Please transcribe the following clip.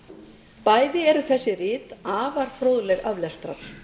alþingisbókanna bæði eru þessi rit afar fróðleg aflestrar